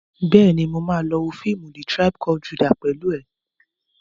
Bẹ́ẹ̀ni, mo ma lọ wo fíìmù "The tribe called Judah" pẹ̀lú ẹ̀